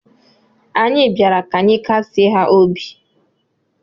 Anyị bịara ka anyị kasịe ha obi.